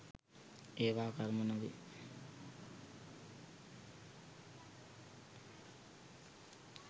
ඒවා කර්ම නොවේ.